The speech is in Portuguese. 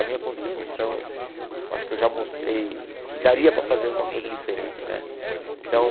A minha contribuição, eu acho que eu já mostrei que daria para fazer alguma coisa diferente né então.